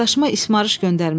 Qardaşıma ismarış göndərmişəm.